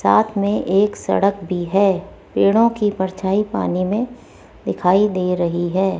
साथ में एक सड़क भी है पेड़ों की परछाई पानी में दिखाई दे रही है।